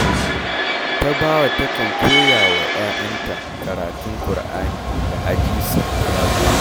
Tabawa takan koya wa ‘ya’yanta karatun Kur’ani da hadisi da yamma